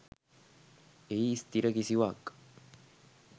එහි ස්ථිර කිසිවක්